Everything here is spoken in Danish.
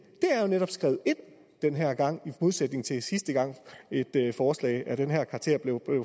er netop skrevet ind den her gang i modsætning til sidste gang et forslag af den her karakter blev